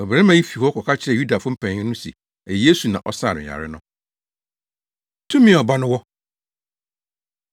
Ɔbarima yi fii hɔ kɔka kyerɛɛ Yudafo mpanyin no se ɛyɛ Yesu na ɔsaa no yare no. Tumi A Ɔba No Wɔ